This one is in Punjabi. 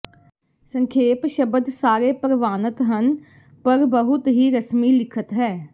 ਸੰਖੇਪ ਸ਼ਬਦ ਸਾਰੇ ਪ੍ਰਵਾਨਤ ਹਨ ਪਰ ਬਹੁਤ ਹੀ ਰਸਮੀ ਲਿਖਤ ਹੈ